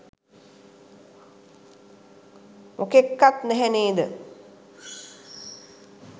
මොකෙක්කත් නැහැ නේද?